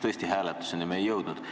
Tõesti, hääletuseni me ei jõudnud.